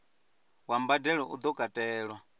wa mbadelo u do katelwa